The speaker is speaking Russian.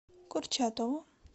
курчатову